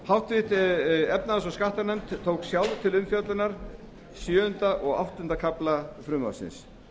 háttvirtrar efnahags og skattanefnd tók sjálf til umfjöllunar sjöunda og áttunda kafla frumvarpsins